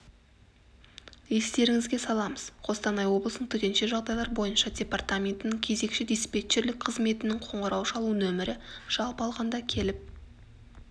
естеріңізге саламыз қостанай облысының төтенше жағдайлар бойынша департаментінің кезекші-диспетчерлік қызметінің қоңырау шалу нөмірі жалпы алғанда келіп